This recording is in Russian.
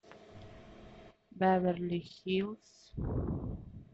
беверли хиллз